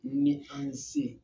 Ni an se